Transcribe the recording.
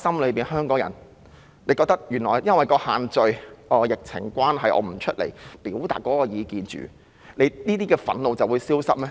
在香港人心底裏，她以為因為限聚令和疫情關係，市民暫時不外出表達意見，這些憤怒便會消失嗎？